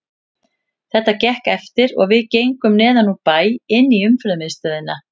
Þetta gekk eftir og við gengum neðan úr bæ inn í Umferðarmiðstöð.